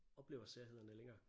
Oplever særhederne længere